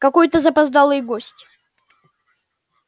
какой-то запоздалый гость